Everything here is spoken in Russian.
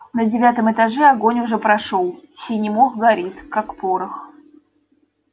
на девятом этаже огонь уже прошёл синий мох горит как порох